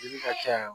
Yiri ka ca yan